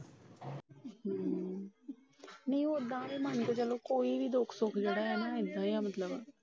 ਹੂ ਓਦਾਂ ਏ ਮਨ ਕੇ ਚਲੋ ਕੋਈ ਵੀ ਦੁੱਖ ਸੁਖ ਹੁੰਦਾ ਏ ਨਾ ਮਤਲਬ